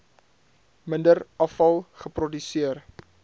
minder afval geproduseer